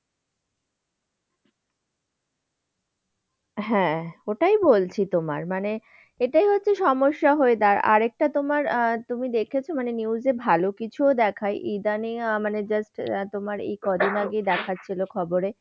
হ্যাঁ, ওটাই বলছি তোমার। মানে এটাই হচ্ছে সমস্যা হয়ে দাঁড়ায়। আর একটা তোমার আহ তুমি দেখেছ মানে news এ ভালো কিছুও দেখায়। ইদানীং মানে just তোমার এই কয়দিন আগেই দেখাচ্ছিল খবরে।